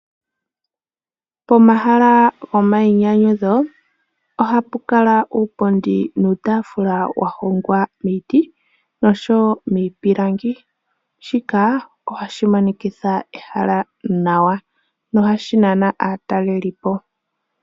Pomahala go mayinyanyudho ohapu kala uupundi nuutafula wa hongwa miiti noshowo miipilangi. Shika ohashi monikitha ehala nawa nohashi nana aatelelipo.